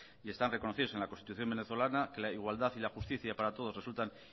y está reconocidos en la constitución venezolana que la igualdad y la justica para todos resultan